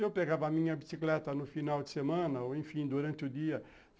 Eu pegava a minha bicicleta no final de semana ou, enfim, durante o dia.